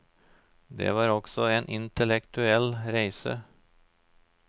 Det var også en intellektuell reise.